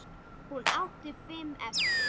Hún átti fimm eftir.